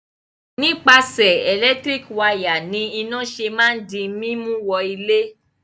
Nípasẹ̀ ẹ̀lẹ́tíríkì wayà ni iná ṣe máa ń di mímú wọ ilé.